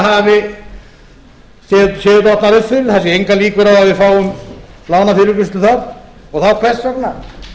fyrir það séu engar líkur á að við fáum lánafyrirgreiðslu þar og þá hvers vegna